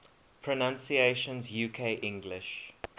pronunciations uk english